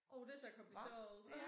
Jo det ser kompliceret ud